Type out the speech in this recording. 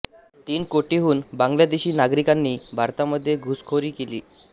तीन कोटीहून बांगलादेशी नागरिकांनी भारतामध्ये घुसखोरी केली आहे